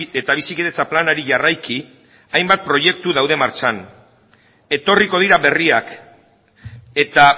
eta bizikidetza planari jarraiki hainbat proiektu daude martxan etorriko dira berriak eta